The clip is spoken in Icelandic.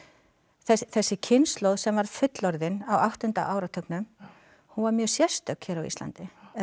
þessi kynslóð sem varð fullorðin á áttunda áratugnum hún var mjög sérstök hér á Íslandi eða